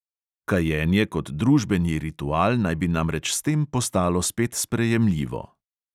Kajenje kot družbeni ritual naj bi namreč s tem postalo spet sprejemljivo.